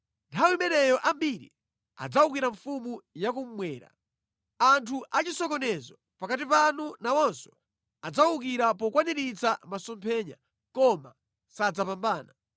“Nthawi imeneyo ambiri adzawukira mfumu ya kummwera. Anthu achisokonezo pakati panu nawonso adzawukira pokwaniritsa masomphenya, koma sadzapambana.